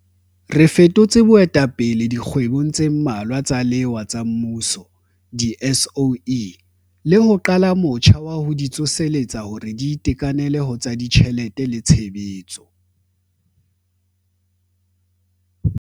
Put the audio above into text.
Re fetotse boetapele dikgwebong tse mmalwa tsa lewa tsa mmuso di-SOE, le ho qala motjha wa ho di tsoseletsa hore di itekanele ho tsa ditjhelete le tshebetso.